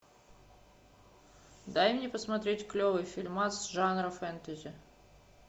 дай мне посмотреть клевый фильмас жанра фэнтези